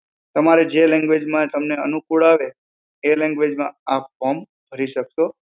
તમારે જે language માં તમને અનુકૂળ આવે એ language માં આપ form ભરી શકશો.